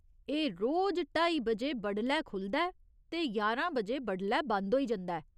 एह् रोज ढाई बजे बडलै खु'लदा ऐ ते ञारां बजे बडलै बंद होई जंदा ऐ।